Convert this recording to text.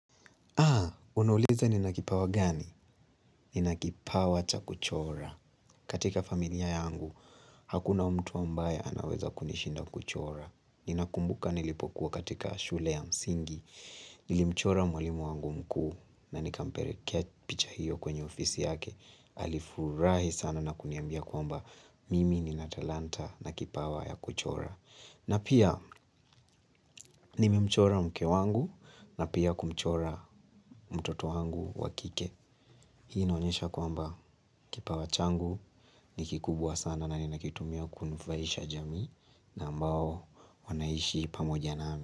Unauliza nina kipawa gani? Nina kipawa cha kuchora. Katika familia yangu, hakuna mtu ambaye anaweza kunishinda kuchora. Ninakumbuka nilipokuwa katika shule ya msingi. Nilimchora mwalimu wangu mkuu na nikamperekea picha hiyo kwenye ofisi yake. Alifurahi sana na kuniambia kwamba mimi nina talanta na kipawa ya kuchora. Na pia nimemchora mke wangu na pia kumchora mtoto wangu wakike. Hii inaonyesha kwamba kipawa changu ni kikubwa sana na ninakitumia kunufaisha jamii. Na ambao wanaishi pamoja nami.